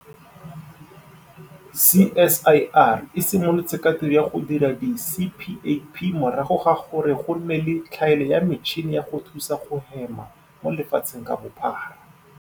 CSIR e simolotse ka tiro ya go dira di-CPAP morago ga gore go nne le tlhaelo ya metšhini ya go thusa go hema mo lefatsheng ka bophara.